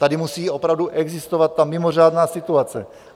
Tady musí opravdu existovat ta mimořádná situace.